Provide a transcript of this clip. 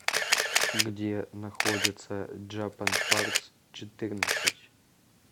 где находится джапанпартсчетырнадцать